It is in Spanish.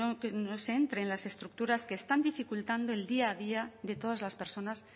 que no se entre las estructuras que están dificultando el día a día de todas las personas